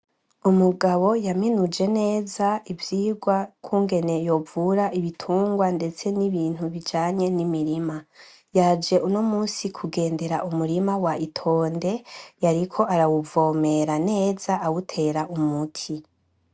Umugabo yaminuje neza ivyirwa ukungene yovura ibitungwa ndetse nibindi bijanye numurima , yaje unomusi kugendera umurima wa itonde yariko arawuvomera neza awutera umuti .